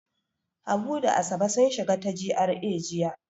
Habu da Asabe sun shiga ta GRA jiya.